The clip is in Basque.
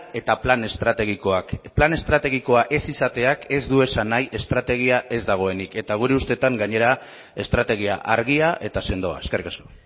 eta plan estrategikoak plan estrategikoa ez izateak ez du esan nahi estrategia ez dagoenik eta gure ustetan gainera estrategia argia eta sendoa eskerrik asko